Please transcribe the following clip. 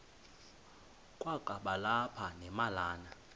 kwakaba lapha nemalana